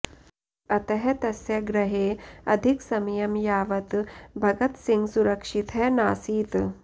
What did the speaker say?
अतः तस्य गृहे अधिकसमयं यावत् भगत सिंह सुरक्षितः नासीत्